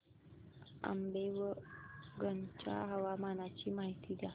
आंबेवंगन च्या हवामानाची माहिती द्या